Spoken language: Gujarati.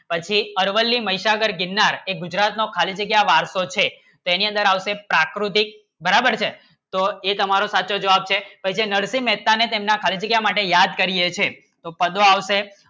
પછી અરવલ્લી મહીસાગર ગિરનાર એ ગુજરાતનો ખાલી જગ્યા વારસો છે તેની અંદર આવશે પ્રાકૃતિક બરાબર છે તો એ તમારો સાચો જવાબ છે નરસિંહ મહેતાને તેમના ખાલી જગ્યા માટે યાદ કરીએ છે